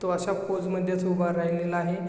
तो असा पोज मध्येच उभा राहिलेला आहे.